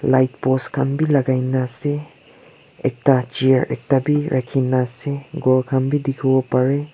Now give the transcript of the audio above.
lightpost khan bi lagaine ase ekta chair ekta bi rakhine ase ghor khan bi dikhi bo pare.